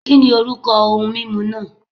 Kìnì orúkọ ohun mímu náà